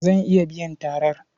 Zan iya biyan tarar.